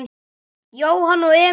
Jóhann og Emil inn?